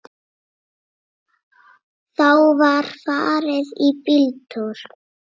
Þá var farið í bíltúr.